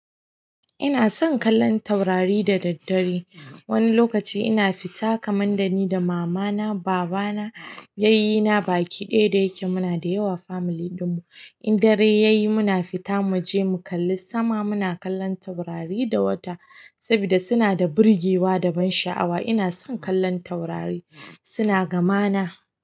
Ina son kallon taurari da daddare. Wani lokaci ina fita kamar da ni da mama na, baba na, yayye na, baki ɗaya da yake muna da yawa family ɗin mu. In dare ya yi muna fita mu je mu kalli sama. Muna kallon taurari da wata saboda suna da birgewa da ban sha'awa. Ina son kallon taurari, suna gama na.